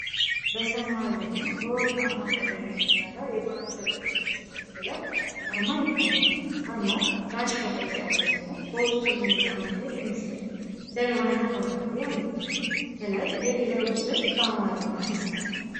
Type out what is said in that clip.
በሰማያዊና በወርቃማ ቀለም የተሠራ የባሕር ዳር ከነማ ስፖርት ክለብ አርማ ይታያል። አርማው ጋሻ ቅርጽ ያለው ሲሆን፣ በውስጡ የጣና ሐይቅ ምስል፣ ጀልባና ፏፏቴ አሉት። ከላይ የክለቡ ስም በአማርኛ ተጽፏል።